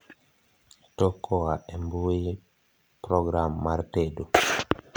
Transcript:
tok koa e mbuyi program mar tedo